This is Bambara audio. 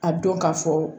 A dɔn ka fɔ